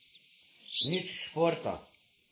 Nič športa.